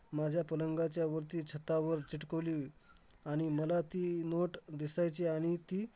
माझ्या पलंगाच्या वरती छतावर चिटकवली. आणि मला ती नोट दिसायची, आणि ती